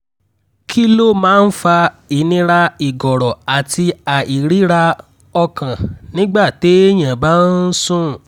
kí ló máa ń fa ìnira ìgọ̀rọ̀ àti àìríra-ọkàn nígbà téèyàn bá ń sùn?